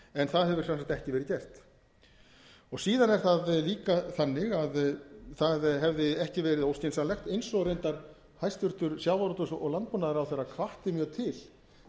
en það hefur sem sagt ekki verið gert síðan er það líka þannig að það hefði ekki verið óskynsamlegt eins og reyndar hæstvirtum sjávarútvegs og landbúnaðarráðherra hvatti mjög til